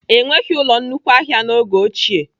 Enweghị ụlọ nnukwu ahịa n'oge ochie.